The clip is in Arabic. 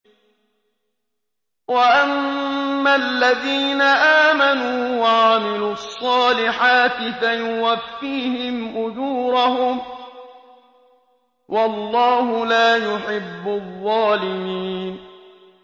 وَأَمَّا الَّذِينَ آمَنُوا وَعَمِلُوا الصَّالِحَاتِ فَيُوَفِّيهِمْ أُجُورَهُمْ ۗ وَاللَّهُ لَا يُحِبُّ الظَّالِمِينَ